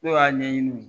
Ne y'a ɲɛɲini